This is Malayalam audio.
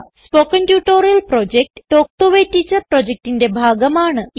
spoken tutorial project talk to a teacher പ്രൊജക്റ്റിന്റെ ഭാഗമാണ്